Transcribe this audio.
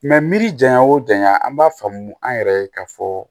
miri janya o janya an b'a faamu an yɛrɛ ye k'a fɔ